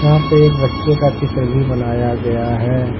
यहां पे एक बच्चे का चित्र बनाया गया है।